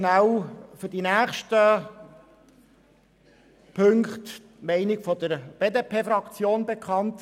Ich gebe kurz zu den nächsten Punkten die Meinung der BDP-Fraktion bekannt.